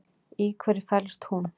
Í hverju felst hún?